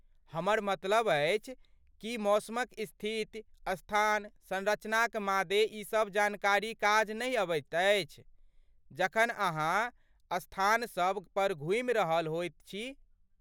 हमर मतलब अछि, की मौसमक स्थिति, स्थान, संरचनाक मादे ई सब जानकारी काज नहि अबैत अछि जखन अहाँ स्थान सभ पर घूमि रहल होइत छी?